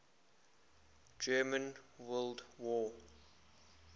german world war